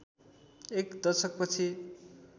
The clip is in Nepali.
एक दशक पछि